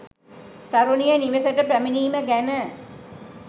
තරුණිය නිවෙසට පැමිණීම ගැන